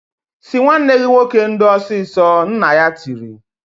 "Sị nwanne gị nwoke ndo ọsịsọ!" Nna ya tiri.